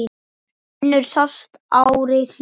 Önnur sást ári síðar.